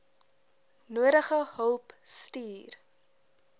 nodige hulp stuur